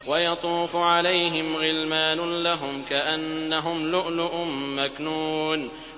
۞ وَيَطُوفُ عَلَيْهِمْ غِلْمَانٌ لَّهُمْ كَأَنَّهُمْ لُؤْلُؤٌ مَّكْنُونٌ